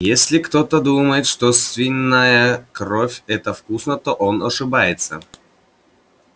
если кто-то думает что свиная кровь это вкусно то он ошибается